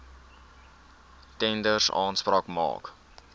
tenders aanspraak maak